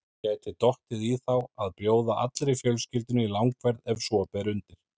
Gæti dottið í þá að bjóða allri fjölskyldunni í langferð ef svo ber undir.